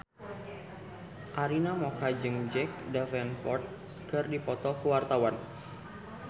Arina Mocca jeung Jack Davenport keur dipoto ku wartawan